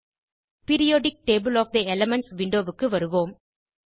periodic table of the elements விண்டோவுக்கு வருவோம்